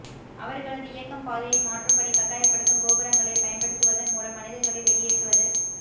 அவர்களது இயக்கம் பாதையை மாற்றும்படி கட்டாயப்படுத்தும் கோபுரங்களைப் பயன்படுத்துவதன் மூலம் மனிதர்களை வெளியேற்றுவது